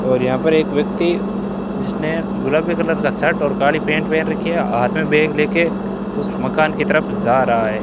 और यहां पर एक व्यक्ति जिसने गुलाबी कलर का शर्ट और काली पैंट पहन रखी है हाथ में बैग ले के उस मकान की तरफ जा रहा है।